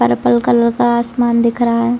Purple colour का आसमान दिख रहा है।